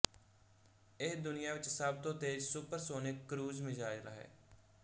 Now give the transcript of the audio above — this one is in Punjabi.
ਇਹ ਦੁਨੀਆ ਵਿੱਚ ਸਭ ਤੋਂ ਤੇਜ਼ ਸੁਪਰਸੋਨਿਕ ਕਰੂਜ਼ ਮਿਜ਼ਾਈਲ ਹੈ